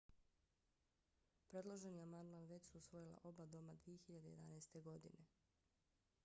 predloženi amandman već su usvojila oba doma 2011. godine